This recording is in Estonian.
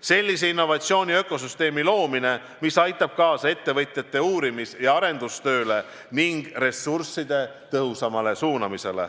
sellise innovatsiooni ökosüsteemi loomine, mis aitab kaasa ettevõtjate uurimis- ja arendustööle ning ressursside tõhusamale suunamisele.